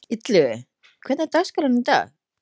Illugi, hvernig er dagskráin í dag?